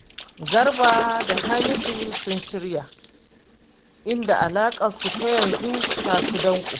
Garba da Hamisu sun shirya, inda alaƙarsu ta yanzu ta fi danƙo